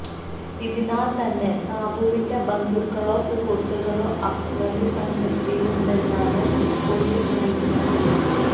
ഇതിനാല് തന്നെ സാബുവിന്റെ ബന്ധുക്കളോ സുഹൃത്തുക്കളോ അക്രമി സംഘത്തിലുണ്ടെന്നാണ് പോലീസ് നല്കുന്ന വിവരം